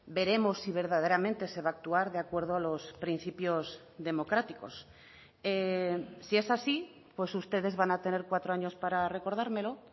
veremos si verdaderamente se va a actuar de acuerdo a los principios democráticos si es así pues ustedes van a tener cuatro años para recordármelo